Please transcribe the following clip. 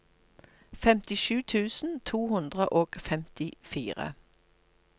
femtisju tusen to hundre og femtifire